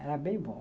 Era bem bom.